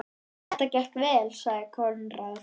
Þetta gekk vel, sagði Konráð.